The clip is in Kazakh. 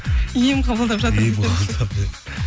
ем қабылдап жатырмын ем қабылдап иә